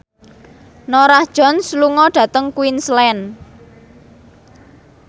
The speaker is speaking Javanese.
Norah Jones lunga dhateng Queensland